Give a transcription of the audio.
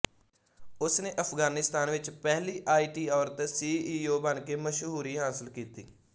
ਉਸਨੇ ਅਫਗਾਨਿਸਤਾਨ ਵਿੱਚ ਪਹਿਲੀ ਆਈਟੀ ਔਰਤ ਸੀਈਓ ਬਣ ਕੇ ਮਸ਼ਹੂਰੀ ਹਾਸਲ ਕੀਤੀ